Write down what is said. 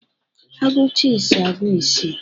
A gụcha ise, agụọ isii